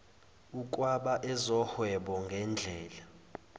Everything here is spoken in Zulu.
ukwaba ezohwebo ngedlela